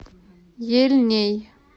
ельней